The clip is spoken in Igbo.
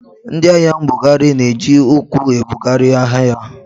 Ndị ahịa mbugharị na-eji ụkwụ ebugharị ahịa ha.